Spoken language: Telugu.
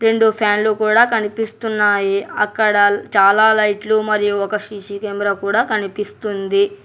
రెండు ఫ్యాన్లు కూడా కనిపిస్తున్నాయి అక్కడ చాలా లైట్లు మరియు ఒక సీ_సీ కెమెరా కూడా కనిపిస్తుంది.